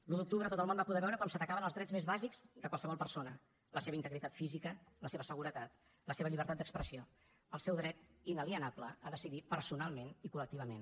l’un d’octubre tot el món va poder veure com s’atacaven els drets més bàsics de qualsevol persona la seva integritat física la seva seguretat la seva llibertat d’expressió el seu dret inalienable a decidir personalment i col·lectivament